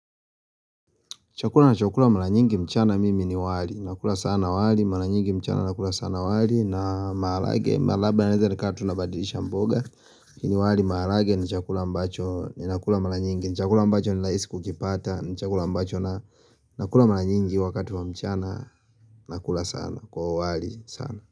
Chakula na chakula mara nyingi mchana mimi ni wali, nakula sana wali, mara nyingi mchana nakula sana wali na maarage, malaba na leza ni kata tunabadilisha mboga Kini wali maarage ni chakula mbacho ni nakula mara nyingi, ni chakula mbacho ni raisi kukipata ni chakula mbacho na nakula mara nyingi wakati wa mchana nakula sana kwa wali sana.